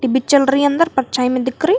चल रही अंदर परछाई में दिख रही।